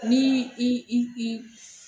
N'i i i i.